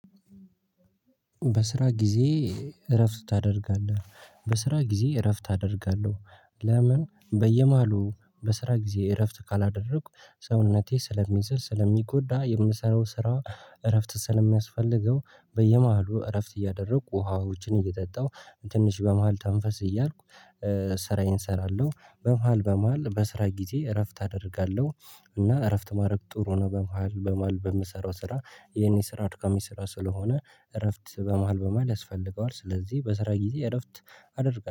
በስራ ጊዜ እረፍት ታደርጋለህ በስራ ጊዜ እረፍት ታደርጋለህ? ለምን በየማሉ በስራ ጊዜ እረፍት ካላደረኩ ሰውነቴ ስለሚዝል ስለሚጎዳ የምሰራው ስራ እረፍት ስለሚያስፈልገው በየመሃሉ እረፍት እያደረጉ ውሃዎችን እየጠጣው ትንሽ በመሃል ተንፈስ እያልኩ ስራዬን እሰራለሁ። በመሃል በመሃል በስራ ጊዜ እረፍት አደርጋለሁ እና እረፍት ማድረግ ጥሩ ነው። በመሃል በመሃል በምሰራው ስራ የኔ ስራ አድካሚ ስራ ስለሆነ እረፍት በመሃል በመሃል ያስፈልገዋል ስለዚህ በስራ ጊዜ እረፍት አደርጋለሁ